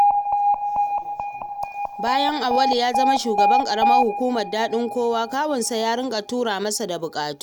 Bayan Auwalu ya zama shugaban ƙaramar hukumar Daɗin Kowa, kawunsa ya riƙa tura masa da buƙatu